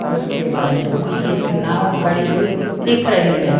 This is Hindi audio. उसके बाजू में एक नाव खड़ी हुई दिख रही है।